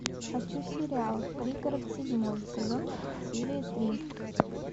хочу сериал пригород седьмой сезон серия три